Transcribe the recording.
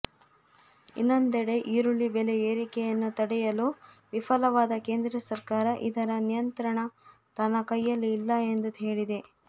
ಇನ್ನೊಂದೆಡೆ ಈರುಳ್ಳಿ ಬೆಲೆ ಏರಿಕೆಯನ್ನು ತಡೆಯಲು ವಿಫಲವಾದ ಕೇಂದ್ರ ಸರ್ಕಾರ ಇದರ ನಿಯಂತ್ರಣ ತನ್ನ ಕೈಯಲ್ಲಿ ಇಲ್ಲ ಎಂದು ಹೇಳಿದೆ